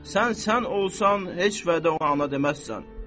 Sən sən olsan heç vədə ona deməzsən.